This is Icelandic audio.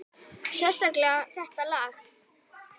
Sérstaklega þetta lag.